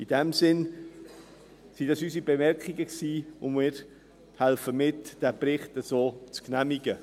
In diesem Sinn waren das unsere Bemerkungen, und wir helfen mit, diesen Bericht so zu genehmigen.